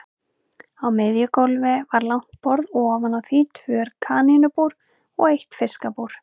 Á miðju gólfi var langt borð og ofan á því tvö kanínubúr og eitt fiskabúr.